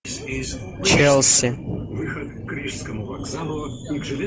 челси